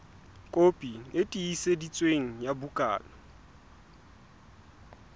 kopi e tiiseditsweng ya bukana